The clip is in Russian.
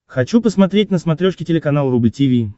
хочу посмотреть на смотрешке телеканал рубль ти ви